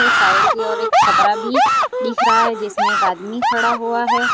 इस साइड की ओर एक छपरा भी दिख रहा है जिसमें एक आदमी भी खड़ा हुआ है।